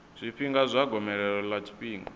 zwifhinga zwa gomelelo ḽa tshifhinga